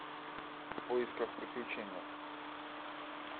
в поисках приключения